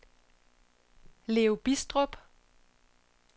Leo Bidstrup